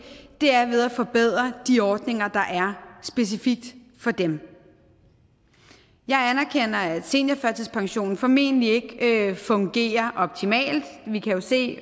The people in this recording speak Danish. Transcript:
er at at forbedre de ordninger der er specifikt for dem jeg anerkender at seniorførtidspensionen formentlig ikke fungerer optimalt vi kan jo se